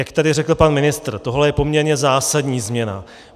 Jak tady řekl pan ministr, tohle je poměrně zásadní změna.